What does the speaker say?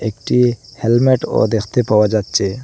একটি হেলমেটও দেখতে পাওয়া যাচ্ছে।